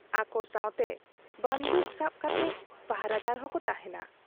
ᱟᱠᱚ ᱥᱟᱶᱛᱮ ᱵᱟᱺᱫᱩᱠ ᱥᱟᱵ ᱠᱟᱛᱮ ᱯᱟᱦᱨᱟᱫᱟᱨ ᱦᱚᱸ ᱠᱚ ᱛᱟᱦᱮᱸᱱᱟ ᱾